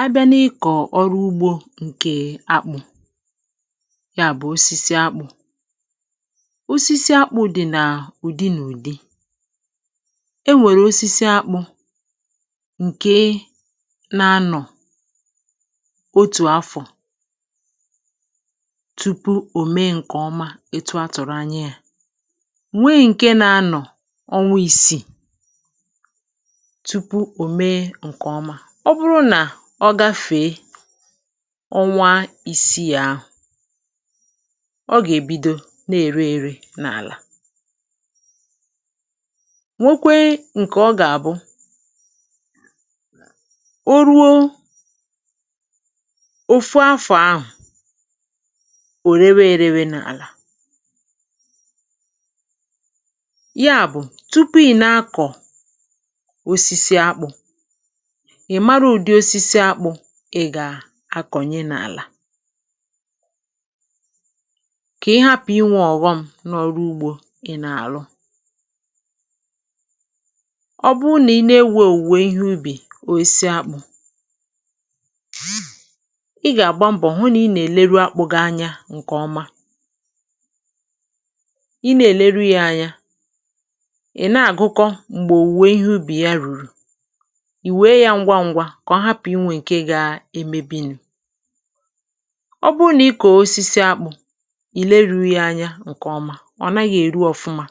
A bịa n’ikọ̀ ọrụ ugbȯ ǹkè akpụ̀ ya bụ̀ osisi akpụ̇. Osisi akpụ̇ dị̀ nà ụ̀dị nà ụ̀dị e nwèrè osisi akpụ̇ ǹkè na-anọ̀ otù afọ̀ tupu òme ǹkè ọma etu a tụ̀rụ̀ anya yȧ, nweè ǹke na-anọ̀ ọnwụ isìi tupụ̀ omè nkè ọma; ọ bụrụ nà ọ gafèe ọnwa ìsii àhù ọ gà-èbido na-èrè èrè n’àlà; nwekwee ǹkè ọ gà-àbụ o ruo òfu afọ̀ ahù òrėwė rėwė n’àlà. Ya bù tupu ị̀ na-akọ̀ osisi akpụ̇, ị màrá ụdị osisi akpụ̀ ị gà-akọ̀nye n’àlà; kà ị hapụ̀ inwė ọ̀ghọm n’ọrụ ugbȯ ị nà-àlụ. Ọ bụrụ na ị na-ewe owùwè ìhè ụbị osisi akpụ̀, ị ga agbá mbọ hụ na ị na- èlèru akpụ gị anya nke ọma Ị na- èlèru yà anya, ị na-águkọ mgbe owùwè ihe ụbị yà rụ̀rụ̀; ị wee yà ngwá ngwá ka ọ hapụ̀ inwè ǹkè gaa emėbìnù. Ọ bụrụ nà ị kòo osisi akpụ̇ ileru yȧ anya ǹkè ọma, ọ̀ nàghị̀ èru ọ̀fụma.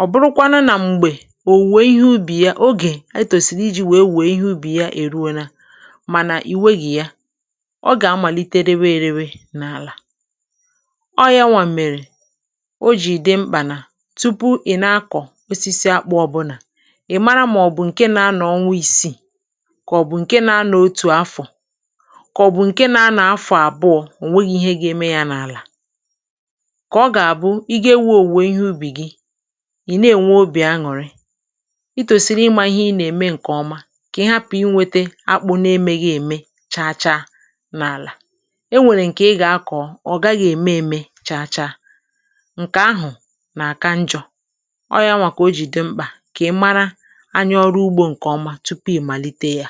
Ọ bụrụ̀ kwanụ nà m̀gbè òwùwè ihe ubì ya ogè etòsiri iji̇ wèe wèe ihe ubì ya èruo na, mànà ì wegì ya; ọ gà amàlite réwé ere n’àlà. Ọ yȧ nwà mèrè o jì dị mkpà nà tupu ị̀ nà akọ̀ osisi akpụ ọbụnà, ị̀ mara màọ̀bụ̀ ǹkè nȧ anọ ọnwa isii, kà ọ̀ bụ̀ ǹke nȧ-anọ̀ otù afọ̀, kà ọ̀bụ̀ ǹke nȧ-anọ̀ afọ̀ àbụọ̇ ò nweghi̇ ihe ga-eme ya n’àlà. Kà ọ gà-àbụ ị ga-ewe òwùwò ihe ubì gi ì na-ènwe obì aṅụ̀rị; itòsìrì ịmȧ ihe ị nà-ème ǹkè ọma kà ị hapụ̀ inwėtė akpụ̇ nà-emėghi ème chaa chaa n’àlà. E nwèrè ǹkè ị gà-akọ̀ ọ̀ gaghị̇ ème ème chaa chaa, ǹkè ahụ̀ nà-àka njọ̀ ọ̇ yà nwà kà o jì dị mkpà kà ị mara anya ọrụ ụgbo ǹkè ọma tupu ịmalite yà.